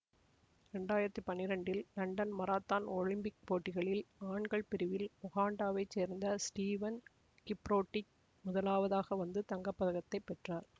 இரண்டு ஆயிரத்தி பன்னிரெண்டில் லண்டன் மராத்தான் ஒலிம்பிக் போட்டிகளின் ஆண்கள் பிரிவில் உகாண்டாவைச் சேர்ந்த ஸ்டீவன் கிப்ரோட்டிச் முதலாவதாக வந்து தங்கப்பதக்கத்தைப் பெற்றார்